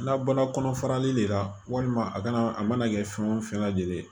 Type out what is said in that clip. Labɔla kɔnɔ farali de la walima a kana a mana kɛ fɛn o fɛn lajɛlen ye